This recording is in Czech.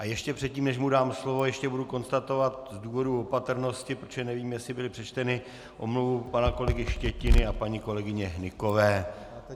A ještě předtím, než mu dám slovo, ještě budu konstatovat z důvodu opatrnosti, protože nevím, jestli byla přečtena, omluvu pana kolegy Štětiny a paní kolegyně Hnykové.